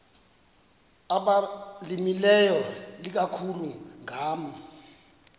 abalimileyo ikakhulu ngama